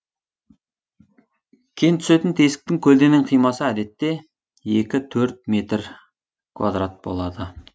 кен түсетін тесіктің көлденең қимасы әдетте екі төрт метр квадрат болады